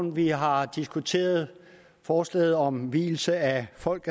at vi har diskuteret forslaget om vielse af folk